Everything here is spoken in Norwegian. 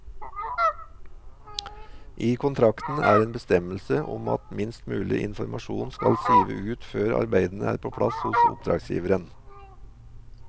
I kontrakten er en bestemmelse om at minst mulig informasjon skal sive ut før arbeidene er på plass hos oppdragsgiveren.